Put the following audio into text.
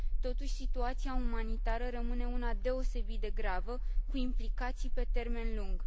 Totuși, situația umanitară rămâne una deosebit de gravă, cu implicații pe termen lung.